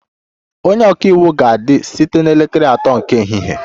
Onye ọka iwu ga-adị site na elekere atọ nke ehihie